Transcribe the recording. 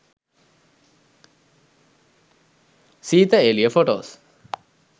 seetha eliya photos